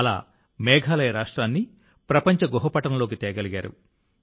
అలా మేఘాలయ రాష్ట్రాన్ని ప్రపంచ గుహ పటంలోకి తేగలిగారు